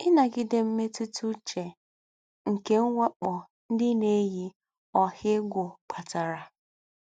Ínágídé Mmètútà Úché nké M̀wákpọ́ Ndí́ Nà-éyí Ọ̀hà Égwú Kpátárà